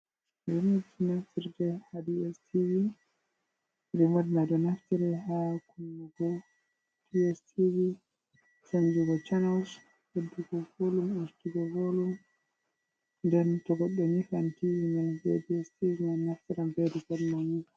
Rimotji naftirɗe ha di s tivi rimodnado naftire ha kunnabo dstv chanjugo channels heddugo volum astugo volum den togoddo nyifan tii man be dstv man naftiran bedu fermani.